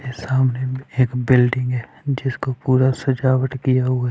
ये सामने एक बिल्डिंग है जिसको पूरा सजावट किया हुआ--